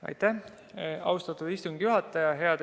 Aitäh, austatud istungi juhataja!